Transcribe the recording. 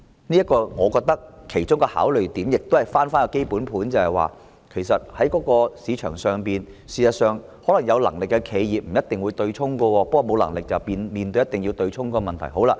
我認為其中一個考慮點，也是回到基本盤，便是在市場上有能力的企業其實不一定會對沖的，但沒有能力的企業卻面對一定要對沖的問題。